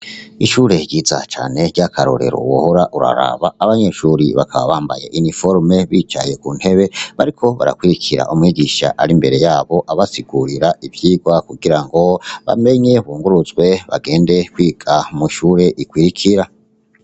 Ishure ryiza cane ry'akarorero wohora uraraba abanyeshuri bakaba bambaye iniforume bicaye ku ntebe bariko barakurikira umwigisha ari imbere yabo abasigurira ivyirwa kugira ngo bamenye bunguruzwe bagende kwiga mw’ishure ikurikira.